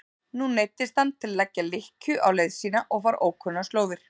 Nú neyddist hann til að leggja lykkju á leið sína og fara ókunnar slóðir.